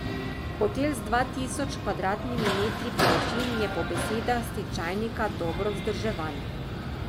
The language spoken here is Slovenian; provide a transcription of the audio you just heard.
Hotel z dva tisoč kvadratnimi metri površin je po besedah stečajnika dobro vzdrževan.